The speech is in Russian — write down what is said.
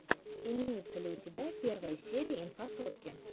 имеется ли у тебя первая серия инфасотки